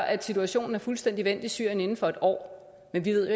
at situationen er fuldstændig vendt i syrien inden for en år men vi ved